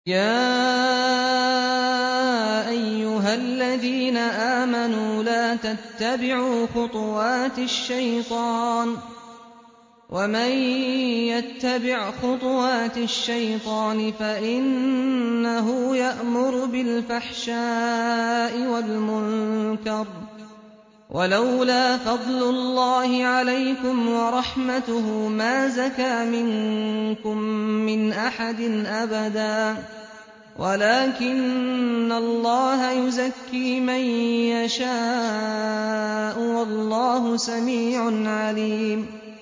۞ يَا أَيُّهَا الَّذِينَ آمَنُوا لَا تَتَّبِعُوا خُطُوَاتِ الشَّيْطَانِ ۚ وَمَن يَتَّبِعْ خُطُوَاتِ الشَّيْطَانِ فَإِنَّهُ يَأْمُرُ بِالْفَحْشَاءِ وَالْمُنكَرِ ۚ وَلَوْلَا فَضْلُ اللَّهِ عَلَيْكُمْ وَرَحْمَتُهُ مَا زَكَىٰ مِنكُم مِّنْ أَحَدٍ أَبَدًا وَلَٰكِنَّ اللَّهَ يُزَكِّي مَن يَشَاءُ ۗ وَاللَّهُ سَمِيعٌ عَلِيمٌ